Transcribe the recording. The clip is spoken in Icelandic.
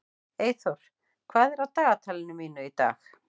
Eyþór, hvað er á dagatalinu mínu í dag?